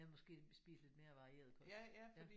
Ja måske spist lidt mere varieret kost